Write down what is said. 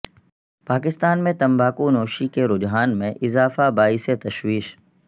پاکستان میں تمباکو نوشی کے رجحان میں اضافہ باعث تشویش